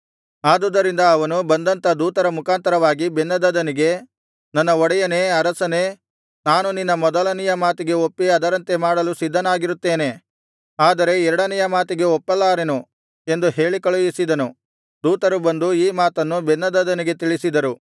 ಆದುದರಿಂದ ಅವನು ಬಂದಂಥ ದೂತರ ಮುಖಾಂತರವಾಗಿ ಬೆನ್ಹದದನಿಗೆ ನನ್ನ ಒಡೆಯನೇ ಅರಸನೇ ನಾನು ನಿನ್ನ ಮೊದಲನೆಯ ಮಾತಿಗೆ ಒಪ್ಪಿ ಅದರಂತೆ ಮಾಡಲು ಸಿದ್ಧನಾಗಿರುತ್ತೇನೆ ಆದರೆ ಎರಡನೆಯ ಮಾತಿಗೆ ಒಪ್ಪಲಾರೆನು ಎಂದು ಹೇಳಿ ಕಳುಹಿಸಿದನು ದೂತರು ಬಂದು ಈ ಮಾತನ್ನು ಬೆನ್ಹದದನಿಗೆ ತಿಳಿಸಿದರು